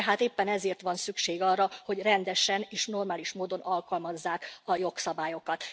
De hát éppen ezért van szükség arra, hogy rendesen és normális módon alkalmazzák a jogszabályokat.